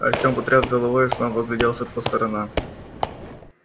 артем потряс головой и снова огляделся по сторонам